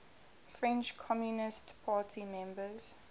french communist party members